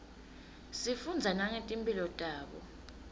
sifundza nangeti mphilo tabo